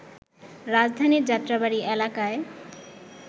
রাজধানীর যাত্রাবাড়ী এলাকায়